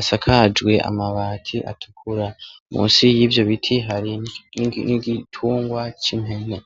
asakajwe amabati atukura musi yivyo biti hari n ' igitungwa cimpene .